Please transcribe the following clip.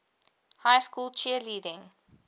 high school cheerleading